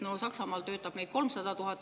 Aga no Saksamaal töötab neid 300 000 …